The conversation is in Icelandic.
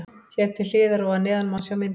Hér til hliðar og að neðan má sjá myndir.